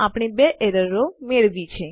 તો આપણે ૨ એરરો મેળવ્યી છે